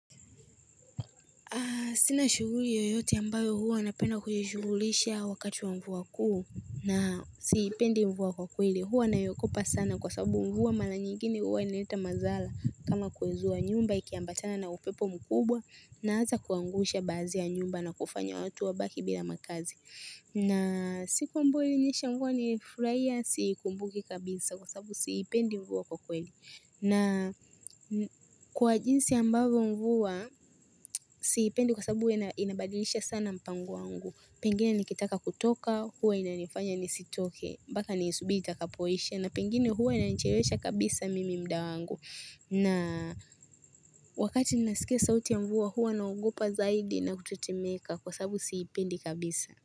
Sina shughuli yoyote ambayo huwa napenda kuishughulisha wakati wa mvua kuu na siipendi mvua kwa kweli. Huwa nayaokopa sana kwa sababu mvua mara nyigine huwa inaleta madhara kama kwezu wa nyumba ikiyambatana na upepo mkubwa na hasa kuangusha baazi ya nyumba na kufanya watu wa baki bila makazi. Na siku ambayo ilinyesha mvua nilifurahia siikumbuki kabisa kwa sababu siipendi mvua kwa kweli. Na kwa jinsi ambavo mvua, siipendi kwa sababu ina inabadilisha sana mpango wangu. Pengine nikitaka kutoka, huwa inanifanya nisitoke, mpaka niisubiri itakapoisha, na pengine huwa inanicherewesha kabisa mimi mda wangu. Na wakati ninasikia sauti ya mvua, huwa naogopa zaidi na kutetemeka kwa sababu siipendi kabisa.